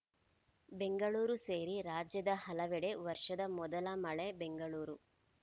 ಬೆಂಗಳೂರು ಸೇರಿ ರಾಜ್ಯದ ಹಲವೆಡೆ ವರ್ಷದ ಮೊದಲ ಮಳೆ ಬೆಂಗಳೂರು